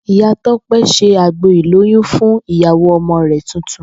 Ìyá Tó̩pé̩ se àgbo ìlóyún fún ìyàwó o̩mo̩ rè̩ tuntun